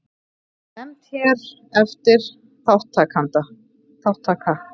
Nefnd hér eftir: Þátttaka.